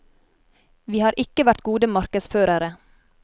Vi har ikke vært gode markedsførere.